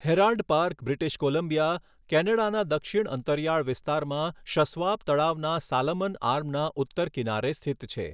Herald Park British Columbia, કેનેડાના દક્ષિણ અંતરિયાળ વિસ્તારમાં શસ્વાપ તળાવના સાલમન આર્મના ઉત્તર કિનારે સ્થિત છે.